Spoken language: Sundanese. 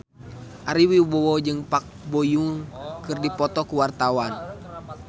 Ari Wibowo jeung Park Bo Yung keur dipoto ku wartawan